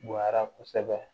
Bonya kosɛbɛ